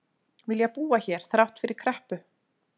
Vilja búa hér þrátt fyrir kreppu